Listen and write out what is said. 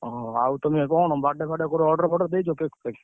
ଅହ ଆଉ ତୁମେ କଣ birthday ଫାଡେ କଣ କୋଉଠି order ଫଡର ଦେଇଛ cake ଫେକ୍?